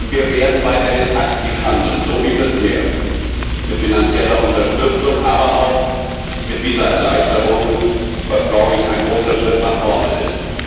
Wir werden weiterhin aktiv handeln so wie bisher mit finanzieller Unterstützung, aber auch mit Visaerleichterungen, was ein großer Schritt nach vorne ist.